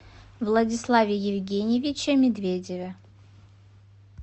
владиславе евгеньевиче медведеве